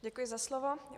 Děkuji za slovo.